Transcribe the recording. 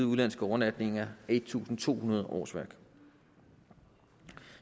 udenlandske overnatninger er en tusind to hundrede årsværk